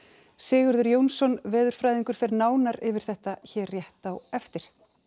Sigurður Jónsson veðurfræðingur fer nánar yfir þetta hér rétt á eftir